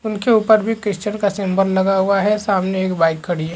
उनके उपर भी क्रिस्चियन का सिंबल भी लगा हुआ है सामने एक बाइक खड़ी हैं।